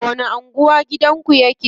A wani anguwa gidanku yake?